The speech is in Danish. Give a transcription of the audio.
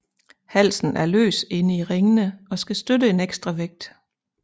Halsen er løs inde i ringene og skal støtte en ekstra vægt